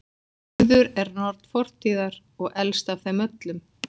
Urður er norn fortíðar og elst af þeim öllum.